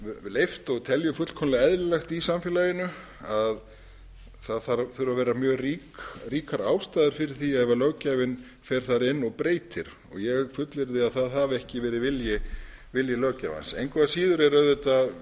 leyft og teljum fullkomlega eðlilegt í samfélaginu það þurfa að vera mjög ríkar ástæður fyrir því ef löggjafinn fer þar inn og breytir og ég fullyrði að það hafi ekki verið vilji löggjafans engu að síður er auðvitað